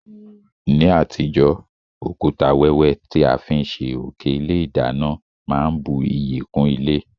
Ní àtijó, òkúta wẹ́wẹ́ ti a fi n sé òké ilé ìdánán má n bu iyì kún ilé